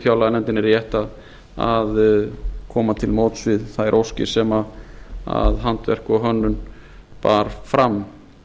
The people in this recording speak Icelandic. fjárlaganefndinni rétt að koma til móts við þær óskir sem handverk og hönnun bar fram